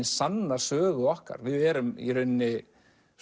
sanna sögu okkar við erum í rauninni